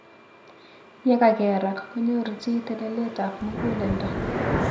Yekakerak konyoru chi telelet ab mukuleldo.